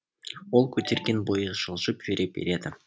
ол көтерген бойы жылжып жүре береді